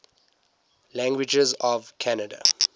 languages of canada